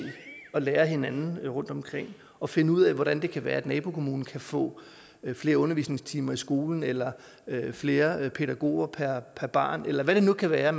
på at lære af hinanden rundtomkring og finde ud af hvordan det kan være at nabokommunen kan få flere undervisningstimer i skolen eller flere pædagoger per barn eller hvad det nu kan være